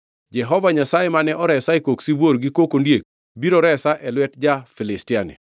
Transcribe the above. Jehova Nyasaye mane oresa e kok sibuor gi kok ondiek biro resa e lwet ja-Filistiani.” Saulo nowachone Daudi niya, “Dhi kendo Jehova Nyasaye obed kodi.”